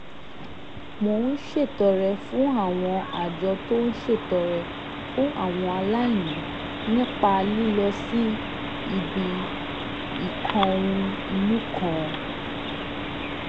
mo ń ṣètọrẹ fún àwọn àjọ tó ń ṣètọrẹ fún àwọn aláìní nípa lílọ sí ibi ìkóhun-ìní kan